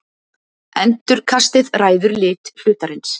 endurkastið ræður lit hlutarins